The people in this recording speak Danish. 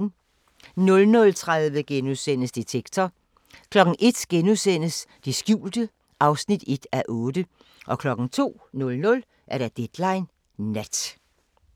00:30: Detektor * 01:00: Det skjulte (1:8)* 02:00: Deadline Nat